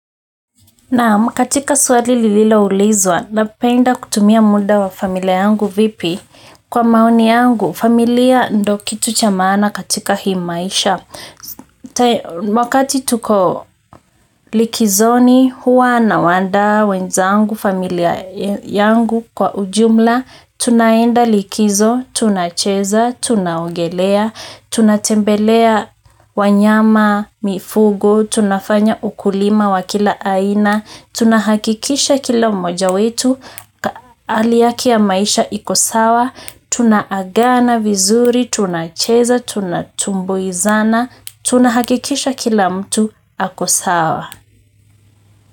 Naam katika swali nililo ulizwa napenda kutumia muda wa familia yangu vipi kwa maoni yangu familia ndo kitu cha maana katika hii maisha. Wakati tuko likizoni, huwa nawanda, wenzangu, familia yangu kwa ujumla. Tunaenda likizo, tunacheza, tunaogelea, tunatembelea wanyama mifugo. Tunafanya ukulima wa kila aina. Tunahakikisha kila mmoja wetu, hali yake ya maisha iko sawa. Tunaagana vizuri, tunacheza, tunatumbuizana tunahakikisha kila mtu ako sawa.